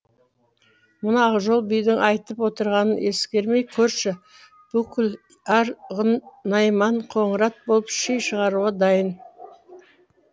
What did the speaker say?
мына ақжол бидің айтып отырғанын ескермей көрші бүкіл ар ғын найман қоңырат болып ши шығаруға дайын